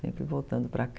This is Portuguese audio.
Sempre voltando para cá.